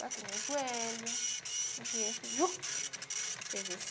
Bateu no meu joelho, no joelho. Meu joelho fez assim